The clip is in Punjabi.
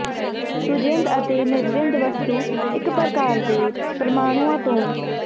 ਸੁਜਿੰਦ ਅਤੇ ਨਿਰਜਿੰਦ ਵਸਤੂ ਇੱਕ ਪ੍ਰਕਾਰ ਦੇ ਪ੍ਰਮਾਣੂਆਂ ਤੋਂ